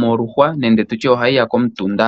moluhwa nenge tu tye ohayi ya komutunda.